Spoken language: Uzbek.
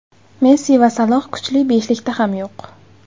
Messi va Saloh kuchli beshlikda ham yo‘q.